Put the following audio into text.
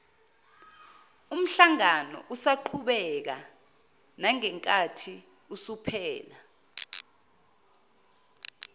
umhlanganousaqhubeka nangenkathi usuphela